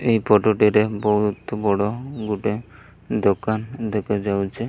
ଏହି ଫଟୋ ଟିରେ ବୋହୁତ ବଡ଼ ଗୁଟେ ଦୋକାନ ଦେଖା ଯାଉଛି।